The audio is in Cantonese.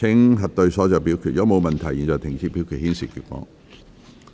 如果沒有問題，現在停止表決，顯示結果。